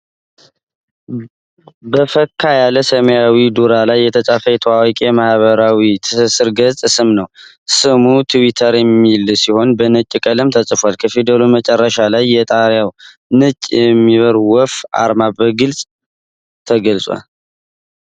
በፈካ ያለ ሰማያዊ ዳራ ላይ የተፃፈ የታዋቂውን የማህበራዊ ትስስር ገጽ ስም ነው። ስሙ "twitter" የሚል ሲሆን በነጭ ቀለም ተጽፏል። ከፊደሉ መጨረሻ ላይ የጣቢያው ነጭ የሚበር ወፍ አርማ በግልጽ ተገልጿል።